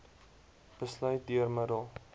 besluit deur middel